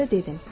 Mən isə dedim.